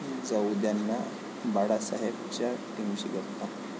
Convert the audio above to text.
जाऊंद्याना बाळासाहेब'च्या टीमशी गप्पा